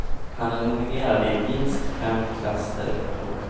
Han är nominerad i minst fem klasser. punkt